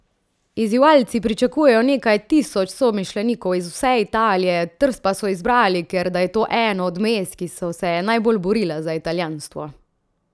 Izzivalci pričakujejo nekaj tisoč somišljenikov iz vse Italije, Trst pa so izbrali, ker da je to eno od mest, ki so se najbolj borila za italijanstvo.